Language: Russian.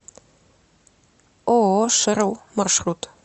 ооо шерл маршрут